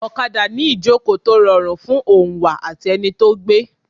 Ọ̀kadà ni ìjòkó tó rọrùn fún oǹwà àti ẹni tí ó gbé.